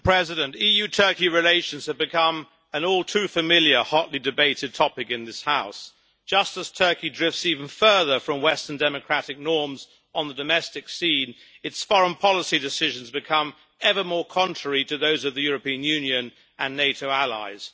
Madam President, EU Turkey relations have become an all too familiar hotly debated topic in this House. Just as Turkey drifts even further from western democratic norms on the domestic scene, its foreign policy decisions become ever more contrary to those of the European Union and NATO allies.